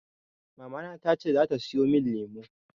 Mamana tace zata siyo min lemu.